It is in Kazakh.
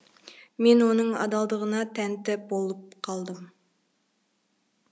мен оның адалдығына тәнті болып қалдым